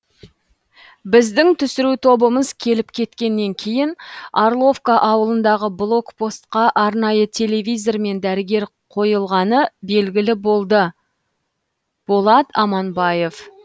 біздің түсіру тобымыз келіп кеткеннен кейін орловка ауылындағы блок постқа арнайы телевизормен дәрігер қойылғаны белгілі болды болат аманбаев